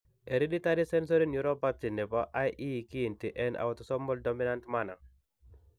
Hereditay sensory neuropathy nebo IE kiinti en autosomal dominant manner.